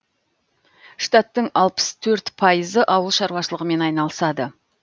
штаттың алпыс төрт пайызы ауыл шаруашылығымен айналысады